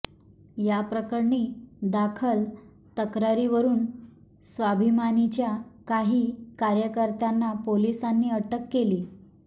याप्रकरणी दाखल तक्रारीवरून स्वाभिमानीच्या काही कार्यकर्त्यांना पोलिसांनी अटक केली